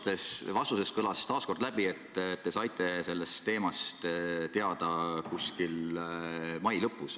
Teie vastusest kõlas taas läbi, et te saite sellest teemast teada umbes mai lõpus.